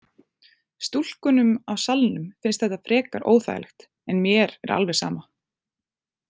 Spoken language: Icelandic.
Stúlkunum á salnum finnst þetta frekar óþægilegt en mér er alveg sama.